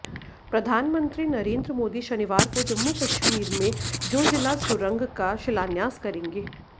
प्रधानमंत्री नरेंद्र मोदी शनिवार को जम्मू कश्मीर में जोजिला सुरंग का शिलान्यास करेंगे